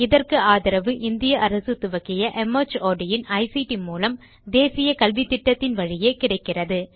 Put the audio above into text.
இதற்கு ஆதரவு இந்திய அரசு துவக்கிய மார்ட் இன் ஐசிடி மூலம் தேசிய கல்வித்திட்டத்தின் வழியே கிடைக்கிறது